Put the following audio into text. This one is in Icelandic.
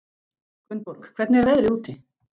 Gunnborg, hvernig er veðrið úti?